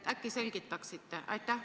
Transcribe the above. Äkki selgitaksite?